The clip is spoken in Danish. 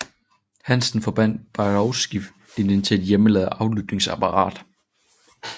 Hansen forbandt Bakowski linjen til et hjemmelavet aflytningsapparat